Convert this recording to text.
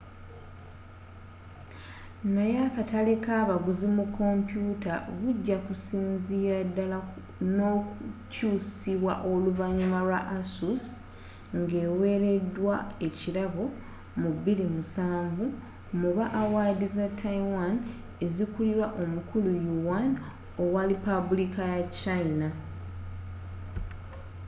naye akatale kabaguzi mu kompyuta bujakusinzirira ddala nokukyusibwa oluvanyuma lwa asus ngeweredwa wkirabo mu 2007 mu ba awaadi za taiwan ezikulirwa omukulu yuan owa lipabuliika ya china